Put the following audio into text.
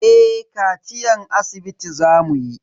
Eh kaciyan asibiti za mu yi.